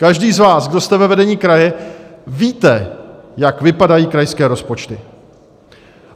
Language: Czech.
Každý z vás, kdo jste ve vedení kraje, víte, jak vypadají krajské rozpočty.